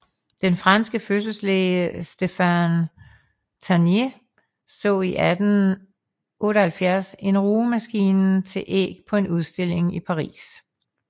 Den franske fødselslæge Stephane Tarnier så i 1878 en rugemaskine til æg på en udstilling i Paris